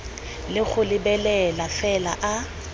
le go lebelela fela a